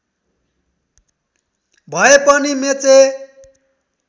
भए पनि मेचे